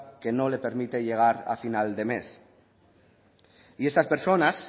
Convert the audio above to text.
que no le permite llegar a final de mes y esas personas